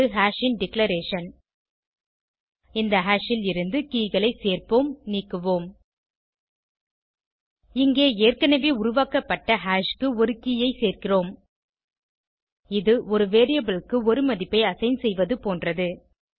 இது ஹாஷ் ன் டிக்ளரேஷன் இந்த ஹாஷ் ல் இருந்து கே களை சேர்ப்போம் நீக்குவோம் இங்கே ஏற்கனவே உருவாக்கப்பட்ட ஹாஷ் க்கு ஒரு கே ஐ சேர்க்கிறோம் இது ஒரு வேரியபிள் க்கு ஒரு மதிப்பை அசைன் செய்வது போன்றது